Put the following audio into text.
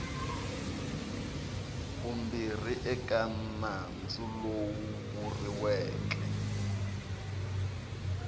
vumbirhi eka nandzu lowu vuriweke